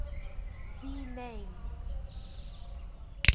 the name